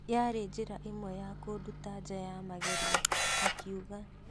Yaari njĩra imwe ya kũnduta nja ya magerio,"akiuga